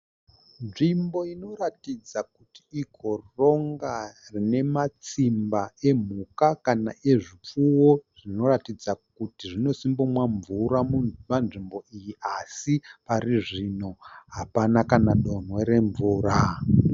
Nzvimbo inoratidza kuti igoronga rine matsimba emhuka kana ezvipfuwo zvinoratidza kuti zvinosimbonwa mvura panzvimbo iyi asi parizvino hapana kana donhwe remvura